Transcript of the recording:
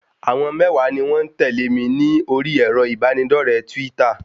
Àwọn mẹ́wàá ni wọ́n ń tẹ̀lé mi ní orí èrò ìbánidọ́rẹ̀ẹ́ twítà